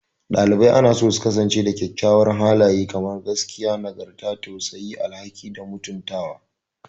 Ɗalibai anaso su kasance da kyawawan halaye kamar gaskiya, nagarta, tausayi, tausayi, alhaki, da mutuntawa.